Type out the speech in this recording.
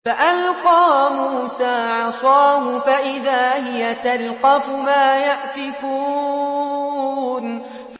فَأَلْقَىٰ مُوسَىٰ عَصَاهُ فَإِذَا هِيَ تَلْقَفُ مَا يَأْفِكُونَ